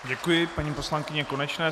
Děkuji paní poslankyni Konečné.